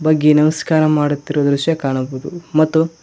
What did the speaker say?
ಬಗ್ಗಿ ನಮಸ್ಕಾರ ಮಾಡುತ್ತಿರುವ ದೃಶ್ಯ ಕಾಣಬಹುದು ಮತ್ತು--